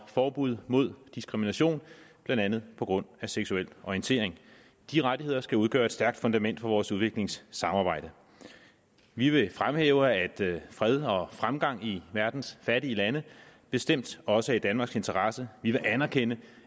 forbud mod diskrimination blandt andet på grund af seksuel orientering de rettigheder skal udgøre et stærkt fundament for vores udviklingssamarbejde vi vil fremhæve at fred og fremgang i verdens fattige lande bestemt også er i danmarks interesse vi vil anerkende